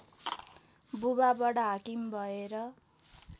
बुबा वडाहाकिम भएर